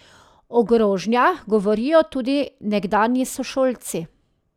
O grožnjah govorijo tudi nekdanji sošolci.